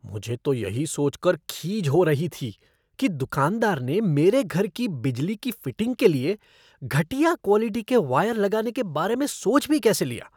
मुझे तो यही सोचकर खीज हो रही थी कि दुकानदार ने मेरे घर की बिजली की फ़िटिंग के लिए घटिया क्वॉलिटी के वायर लगाने के बारे में सोच भी कैसे लिया।